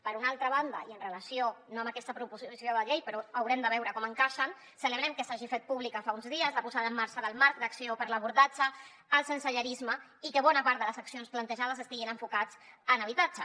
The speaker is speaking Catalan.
per una altra banda i amb relació no a aquesta proposició de llei però haurem de veure com encaixen celebrem que s’hagi fet pública fa uns dies la posada en marxa del marc d’acció per a l’abordatge del sensellarisme i que bona part de les accions plantejades estiguin enfocades en habitatge